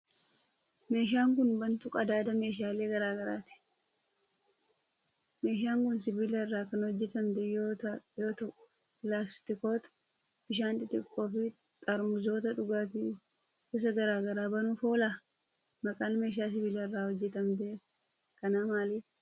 Meeshaan kun, bantuu qadaada meeshaalee garaa garaati. Meeshaan kun, sibiila irraa kan hojjatamte yoo ta'u, pilaastikoota bishaanii xixiqqoo fi xaarmuzoota dhugaatii gosa garaa garaa banuuf oola? Maqaan meeshaa sibiila irraa hojjatamte kanaa maali?